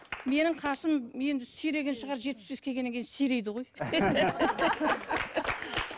менің қасым енді сиреген шығар жетпіс беске келгеннен кейін сирейді ғой